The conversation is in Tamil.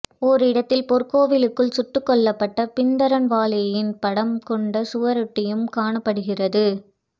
ஓரிடத்தில் பொற்கோவிலுக்குள் சுட்டுக் கொல்லப்பட்ட பிந்தரன்வாலேயின் படம் கொண்ட சுவரொட்டியும் காணப்படுகிறது